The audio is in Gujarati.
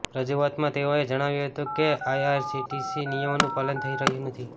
રજૂઆતમાં તેઓએ જણાવ્યું હતું કે આઇઆરસીટીસીના નિમયોનું પાલન થઇ રહ્યું નથી